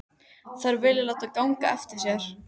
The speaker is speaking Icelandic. Þær vilja láta ganga eftir sér.